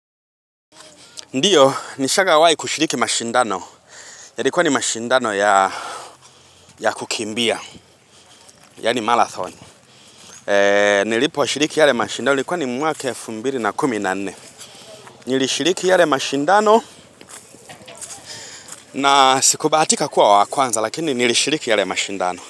Ndiyo, nishaga wahi kushiriki mashindano, yalikuwa ni mashindano ya kukimbia, yaani marathon. Nilipo shiriki yale mashindano, ilikuwa ni mwaka elfu mbili na kumi nne. Nilishiriki yale mashindano, na sikubatika kuwa wa kwanza, lakini nilishiriki yale mashindano.